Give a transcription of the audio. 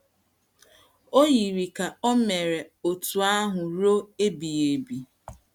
O yiri ka ò mere otú ahụ ruo ebighị ebi.